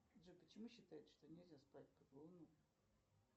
джой почему считается что нельзя спать под луной